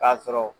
K'a sɔrɔ